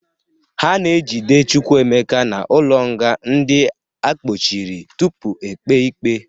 Ha na-ejide Chukwuka n'ụlọnga ndị a kpọchiri tupu ekpe ikpe.